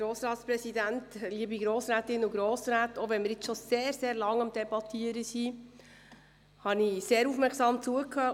Auch wenn wir bereits sehr, sehr lange am Debattieren sind, habe ich sehr aufmerksam zugehört.